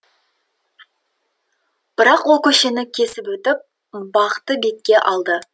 бірақ ол көшені кесіп өтіп бақты бетке алды